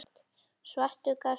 Svartur gafst upp.